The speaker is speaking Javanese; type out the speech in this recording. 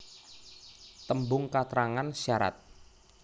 Tembung katrangan syarat